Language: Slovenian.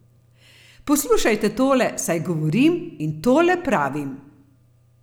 Poslušajte tole, saj govorim, in tole pravim.